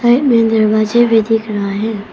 एमें दरवाजे भी दिख रहा हैं।